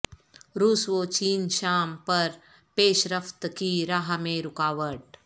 روس و چین شام پر پیش رفت کی راہ میں رکاوٹ